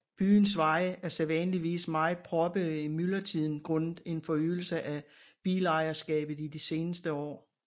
Byens veje er sædvanligvis meget proppede i myldretiden grundet en forøgelse af bilejerskabet i de seneste år